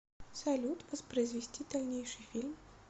салют воспроизвести дальнейший фильм